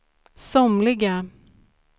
somliga